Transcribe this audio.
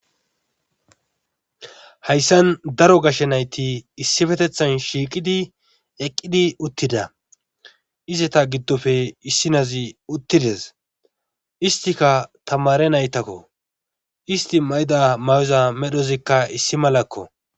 Hayssan daro gashe nayti issippetethan shiiqidi eqqqqqidi uttida izata giddope issi naazi uttidees histikka tammare naytakko histi mayida mayyoza medhozi issi malakko.